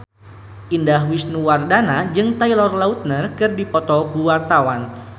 Indah Wisnuwardana jeung Taylor Lautner keur dipoto ku wartawan